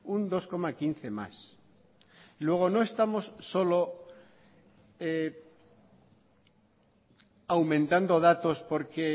un dos coma quince más luego no estamos solo aumentando datos porque